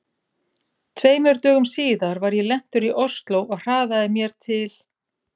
Tveimur dögum síðar var ég lentur í Osló og hraðaði mér til